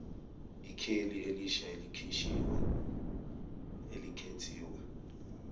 ikheli elisha elikhethiwe